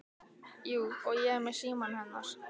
Jú, og ég er með símann hennar.